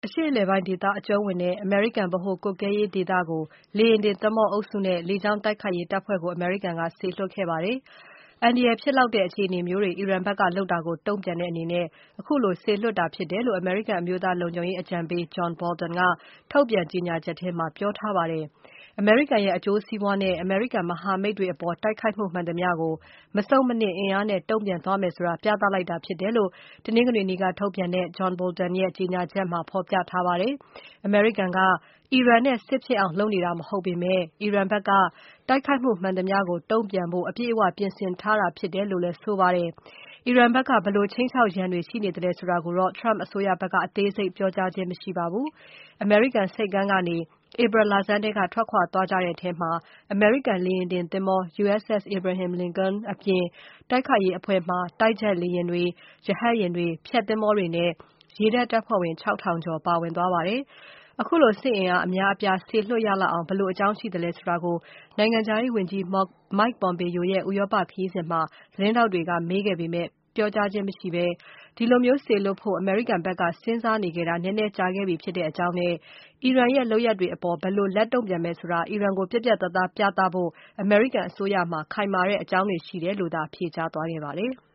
အရှေ့အလယ်ပိုင်းဒေသ အကြုံးဝင်တဲ့ အမေရိကန် ဗဟိုကွပ်ကဲရေးဒေသကို လေယာဉ်တင်သင်္ဘောအုပ်စုနဲ့ လေကြောင်း တိုက်ခိုက်ရေးတပ်ဖွဲ့ကို အမေရိကန်က စေလွှတ်ခဲ့ပါတယ်။ အန္တရာယ်ဖြစ်လောက်တဲ့ အခြေအနေမျိုးတွေ အီရန်ဘက်ကလုပ်တာကို တုံ့ပြန်တဲ့အနေနဲ့ ခုလိုစေလွှတ်တာ ဖြစ်တယ်လို့ အမေရိကန် အမျိုးသားလုံခြုံရေးအကြံပေး Jonh Bolton က ထုတ်ပြန်ကြေညာချက်ထဲမှာ ပြောကြားထားပါတယ်။ အမေရိကန်ရဲ့ အကျိုးစီးပွားနဲ့ အမေရိကန်မဟာမိတ်တွေအပေါ် တိုက်ခိုက်မှုမှန်သမျှကို မဆုတ်မနစ်အင်အားနဲ့ တုံ့ပြန် သွားမယ်ဆိုတာ ပြသလိုက်တာ ဖြစ်တယ်လို့ တနင်္ဂနွေနေ့က ထုတ်ပြန်တဲ့ John Bolton ရဲ့ကြေညာချက်ထဲမှာ ဖော်ပြထားပါတယ်။ အမေရိကန်က အီရန်နဲ့ စစ်ဖြစ်အောင် လုပ်နေတာမဟုတ်ပေမဲ့ အီရန်ဘက် တိုက်ခိုက်မှု မှန်သမျှကို တုံ့ပြန်ဖို့ အပြည့်အဝ ပြင်ဆင်ထားတာဖြစ်တယ်လို့လည်း ဆိုထားပါတယ်။ အီရန်ဘက်က ဘယ်လို ခြိမ်းခြောက်ရန်တွေ ရှိနေသလဲဆိုတာကိုတော့ Trump အစိုးရဘက်က အသေးစိတ်ပြောကြားခြင်း မရှိပါဘူး။ အမေရိကန်ဆိပ်ကမ်းကနေ ဧပြီ လဆန်းထဲက ထွက်ခွာသွားကြတဲ့ထဲမှာ အမေရိကန် လေယာဉ်တင်သင်္ဘော USS Abraham Lincoln အပြင် တိုက်ခိုက်ရေးအဖွဲ့မှာ တိုက်ဂျက်လေယာဉ်တွေ၊ ရဟတ်ယာဉ်တွေ၊ ဖျက်သင်္ဘောတွေနဲ့ ရေတပ်တပ်ဖွဲ့ဝင် ၆ ထောင်ကျော် ပါဝင်သွားပါတယ်။ ခုလို စစ်အင်အားအများအပြား စေလွှတ်ရလောက်အောင် ဘယ်လို အကြောင်းရှိသလဲဆိုတာကို နိုင်ငံခြားရေးဝန်ကြီး Mike Pompeo ရဲ့ ဥရောပခရီးစဉ်မှာ သတင်းထောက်တွေက မေးပေမဲ့ ပြောကြားခြင်းမရှိဘဲ၊ ဒီလိုစေလွှတ်ဖို့ အမေရိကန်အစိုးရဘက်က စဉ်စားနေခဲ့တာ နည်းနည်းကြာခဲ့ပြီ ဖြစ်တဲ့အကြောင်းနဲ့ အီရန်ရဲ့ လုပ်ရပ်တွေအပေါ် ဘယ်လိုလက်တုံ့ပြန်မယ်ဆိုတာ အီရန်ကို ပြတ်ပြတ်သားသားပြသဖို့ အမေရိကန်အစိုးရမှာ ခိုင်မာတဲ့ အကြောင်းတွေ ရှိတယ်လို့သာ ဖြေကြားသွားပါတယ်။